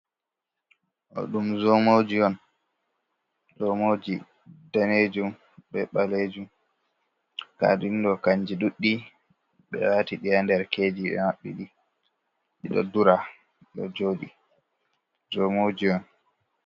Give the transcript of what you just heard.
Ɗoo ɗum joomoji on daneejum bee ɓaleejum, ndaa ɗum ɗo kannji ɗuuɗɗi ɓee waati ɗi haa nder keeji, ɓe mabɓi ɗi, ɗi ɗon ndura zomooji on.